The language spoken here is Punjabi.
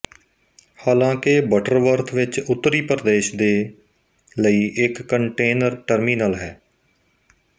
ਹਾਲਾਂਕਿ ਬਟਰਵਰਥ ਵਿੱਚ ਉੱਤਰੀ ਪ੍ਰਦੇਸ਼ ਦੇ ਲਈ ਇੱਕ ਕੰਟੇਨਰ ਟਰਮੀਨਲ ਹੈ